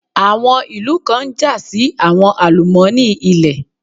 Àwọn ìlú kan ń jà sí àwọn àlùmọ́ọ́nì ilẹ̀.